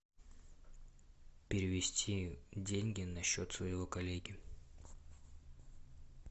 перевести деньги на счет своего коллеги